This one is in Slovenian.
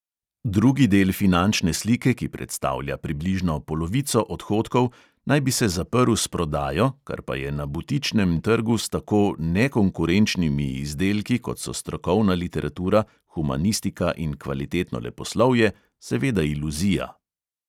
Drugi del finančne slike, ki predstavlja približno polovico odhodkov, naj bi se zaprl s prodajo, kar pa je na butičnem trgu s tako "nekonkurenčnimi" izdelki, kot so strokovna literatura, humanistika in kvalitetno leposlovje, seveda iluzija.